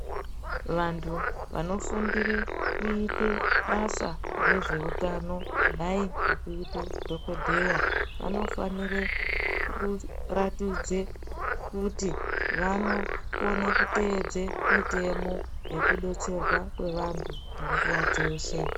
Vantu vano fundire kuite basa rezveutano kudai nekuite dhokodheya vanofanire kuratidze kuti vanokone kuteedze mutemo yeku detserwa kwevantu panguwa dzeshe.